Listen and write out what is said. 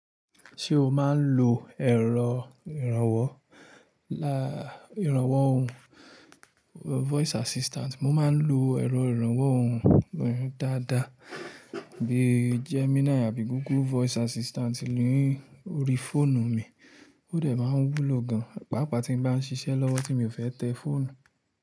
Ṣé o máa ń lo ẹ̀rọ ìrànwọ́ òhùn voice assistant? Mo máa ń lo ẹ̀rọ ìrànwọ́ òhùn dáadáa bíi Gemini àbí Google voice assistant ni órí fóònù mi, ó dẹ̀ máa ń wúlò gan pàápàá tí mo bá ń ṣiṣẹ́ lọ́wọ́ tí mi ò fẹ́ tẹ fóònù.